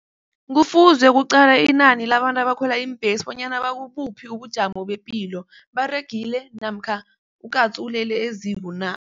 Kufuze kuqalwe inani labantu abakhwela iimbhesi bonyana bakubuphi ubujamo bepilo, baregile namkha ukatsu ulele eziko na?